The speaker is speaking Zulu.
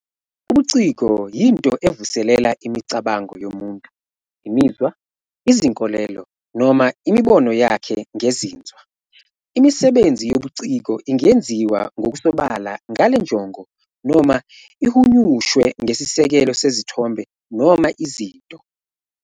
Ubuciko yinto evuselela imicabango yomuntu, imizwa, izinkolelo, noma imibono yakhe ngezinzwa. Imisebenzi yobuciko ingenziwa ngokusobala ngale njongo noma ihunyushwe ngesisekelo sezithombe noma izinto.